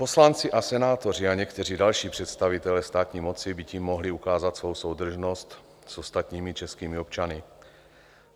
Poslanci a senátoři a někteří další představitelé státní moci by tím mohli ukázat svou soudržnost s ostatními českými občany.